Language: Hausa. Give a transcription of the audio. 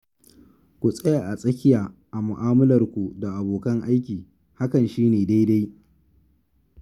Ku tsaya a tsakiya a mu'amalarku da abokan aiki, hakan shi ne dai-dai